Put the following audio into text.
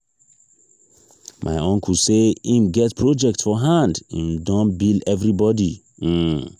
my uncle say im get project for hand im don bill everybodi. um